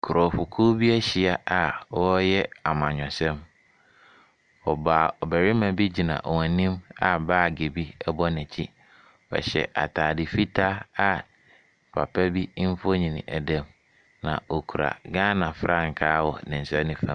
Nkurɔfokuo bi ahyia a wɔreyɛ amanyɔsɛm, ɔbaa ɔbarima bi gyina wɔn anim a baage bi bɔ n’akyi. Ɔhyɛ ataade fitaa a papa bi mfonini da mu. Na okura Ghana frankaa wɔ ne nsa nifa.